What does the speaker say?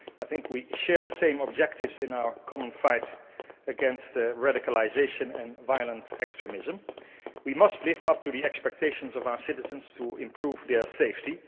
I think we share the same objectives in our common fight against radicalisation and violent extremism. We must live up to the expectations of our citizens to improve their safety.